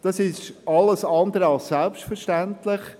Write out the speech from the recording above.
Dies ist alles andere als selbstverständlich.